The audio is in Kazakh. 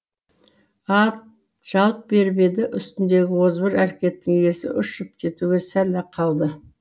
ат жалт беріп еді үстіндегі озбыр әрекеттің иесі ұшып кетуге сәл ақ қалды